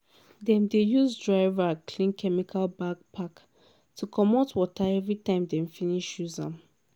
dem dey use dry rag clean chemical backpack to comot water everytime dem finish use am.